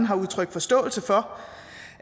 har udtrykt forståelse for